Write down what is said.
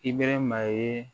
Ibɛrɛma ye